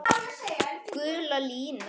Gula línan.